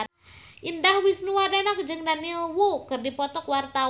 Indah Wisnuwardana jeung Daniel Wu keur dipoto ku wartawan